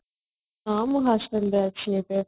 ହଁ ମୁଁ hostel ରେ ଅଛି ଏବେ